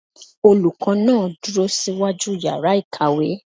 Olùkọ́ náà dúró síwájú yàrá ìkàwé.